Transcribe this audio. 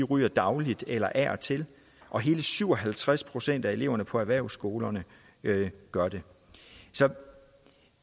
ryger dagligt eller af og til og hele syv og halvtreds procent af eleverne på erhvervsskolerne gør det så